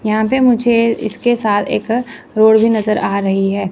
यहां पे मुझे इसके साथ एक रोड भी नजर आ रही है।